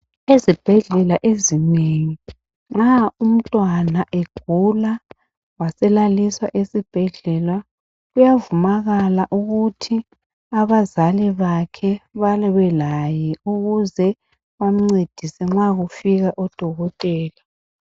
Ezibhedlela ezinengi nxa umntwana egula waselaliswa kuyavunyelwa ukuthi abazali bakhe babelaye ukuze bamncedise nxa kufika odokotela.